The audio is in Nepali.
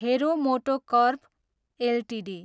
हेरो मोटोकर्प एलटिडी